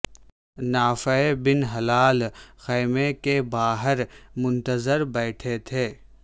نافع بن ہلال خیمے کے باہر منتظر بیٹھے تھے